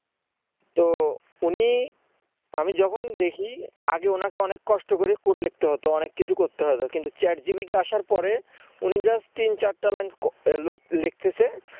তো উনি আমি যখন দেখি আগে ওনাকে অনেক কষ্ট করে code লিখতে হতো কিছু করতে হতো কিন্তু chat GPT আসার পরে উনি just তিন চারটা লাইন লেখতেসে